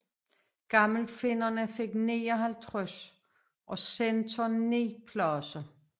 Gammelfinnerne fik 59 og Centern 9 pladser